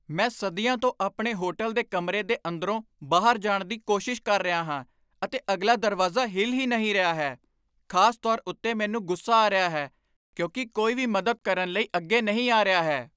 ਮੈਂ ਸਦੀਆਂ ਤੋਂ ਆਪਣੇ ਹੋਟਲ ਦੇ ਕਮਰੇ ਦੇ ਅੰਦਰੋਂ ਬਾਹਰ ਜਾਣ ਦੀ ਕੋਸ਼ਿਸ਼ ਕਰ ਰਿਹਾ ਹਾਂ, ਅਤੇ ਅਗਲਾ ਦਰਵਾਜ਼ਾ ਹਿਲ ਹੀ ਨਹੀਂ ਰਿਹਾ ਹੈ! ਖ਼ਾਸ ਤੌਰ ਉੱਤੇ ਮੈਨੂੰ ਗੁੱਸਾ ਆ ਰਿਹਾ ਹੈ, ਕਿਉਂਕਿ ਕੋਈ ਵੀ ਮਦਦ ਕਰਨ ਲਈ ਅੱਗੇ ਨਹੀਂ ਆ ਰਿਹਾ ਹੈ।